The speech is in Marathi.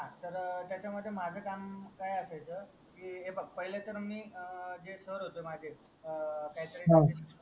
हा तर त्याचा मध्ये माझा काम कायसायचा कि पहिला तर मी जे सर होते माझे अं